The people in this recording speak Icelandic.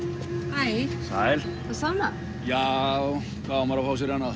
hæ sæl það sama já hvað á maður að fá sér annað